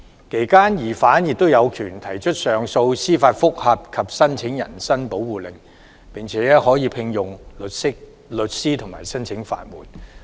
其間疑犯有權提出上訴、司法覆核及申請人身保護令，並可委聘律師及申請法援。